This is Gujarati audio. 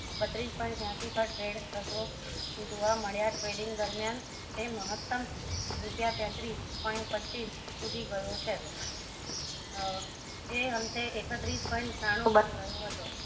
બત્રીસ point ત્યાંશી પર trade થતો જોવા મળ્યા trading દરમિયાન તે મહતમ રૂપિયા તેત્રીસ point પચ્ચીસ સુધી ગયો છે એ અંતે એકત્રીસ point ત્રાણું બંધ રહ્યો હતો